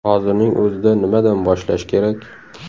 Hozirning o‘zida nimadan boshlash kerak ?